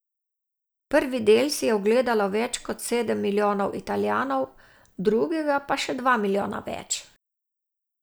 Prvi del si je ogledalo več kot sedem milijonov Italijanov, drugega pa še dva milijona več.